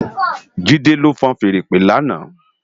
Jide ló fúùn fèèrè ìpè làná